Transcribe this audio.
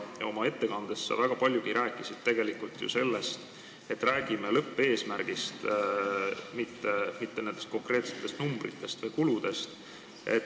Oma ettekandes sa väga palju rääkisid tegelikult ju sellest, et me räägime lõppeesmärgist, mitte nendest konkreetsetest numbritest või kuludest.